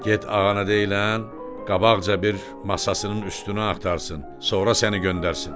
Get ağana deyilən, qabaqca bir masasının üstünü axtarsın, sonra səni göndərsin.